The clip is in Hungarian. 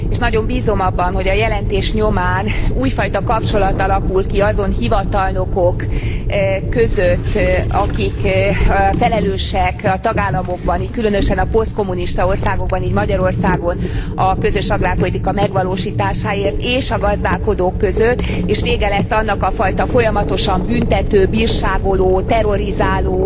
Nagyon bízom abban, hogy a jelentés nyomán újfajta kapcsolat alakul ki azon hivatalnokok között, akik felelősek a tagállamokban, különösen a posztkommunista országokban, így Magyarországon, a közös agrárpolitika megvalósításáért és a gazdálkodók között, és vége lesz annak a fajta folyamatosan büntető, bírságoló, terrorizáló